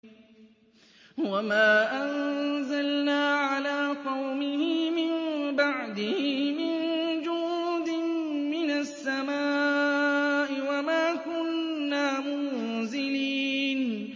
۞ وَمَا أَنزَلْنَا عَلَىٰ قَوْمِهِ مِن بَعْدِهِ مِن جُندٍ مِّنَ السَّمَاءِ وَمَا كُنَّا مُنزِلِينَ